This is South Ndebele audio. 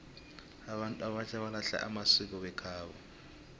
abantu abatjha balahla amasiko wekhabo